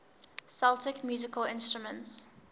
celtic musical instruments